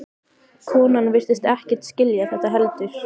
Konan virtist ekkert skilja þetta heldur.